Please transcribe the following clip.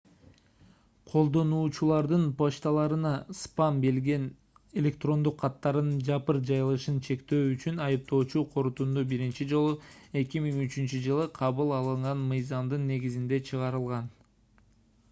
колдонуучулардын почталарына спам делген электрондук каттардын жапырт жайылышын чектөө үчүн айыптоочу корутунду биринчи жолу 2003-жылы кабыл алынган мыйзамдын негизинде чыгарылган